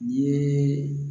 N'i yeee